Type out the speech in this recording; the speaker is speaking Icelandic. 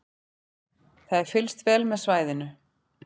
Það er fylgst vel með svæðinu